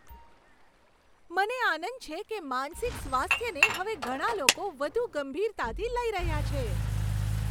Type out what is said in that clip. મને આનંદ છે કે માનસિક સ્વાસ્થ્યને હવે ઘણા લોકો વધુ ગંભીરતાથી લઈ રહ્યા છે.